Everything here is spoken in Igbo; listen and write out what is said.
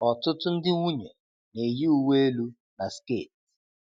Ọtụtụ ndị nwunye na-eyi uwe elu na sket.